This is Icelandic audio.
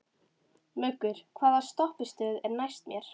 Muggur, hvaða stoppistöð er næst mér?